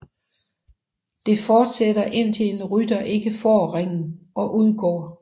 Det fortsætter indtil en rytter ikke får ringen og udgår